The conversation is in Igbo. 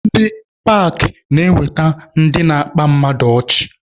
Ndị paakị na-eweta ndị na-akpa mmadụ ọchị.